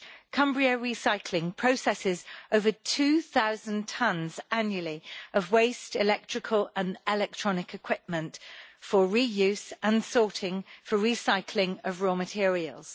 Cumbria Recycling processes over 2000 tons annually of waste and electrical and electronic equipment for the reuse and sorting for recycling of raw materials.